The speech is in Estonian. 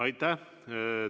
Aitäh!